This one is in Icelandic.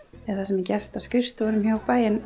eða það sem er gert á skrifstofunni hjá bænum